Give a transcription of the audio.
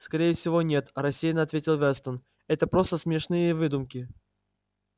скорее всего нет рассеянно ответа вестон это просто смешные выдумки